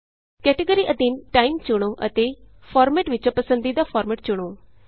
category ਅਧੀਨ time ਚੁਣੋ ਅਤੇ ਫਾਰਮੈਟ ਵਿਚੋਂ ਪੰਸਦੀਦਾ ਫਾਰਮੈਟ ਚੁਣੋ